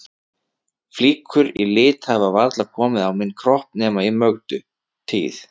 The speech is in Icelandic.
Flíkur í lit hafa varla komið á minn kropp nema í Mögdu tíð.